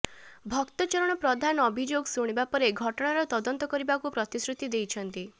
ଭକ୍ତ ଚରଣ ପ୍ରଧାନ ଅଭିଯୋଗ ଶୁଣିବା ପରେ ଘଟଣାର ତଦନ୍ତ କରିବାକୁ ପ୍ରତିଶ୍ରୁତି ଦେଇଛନ୍ତି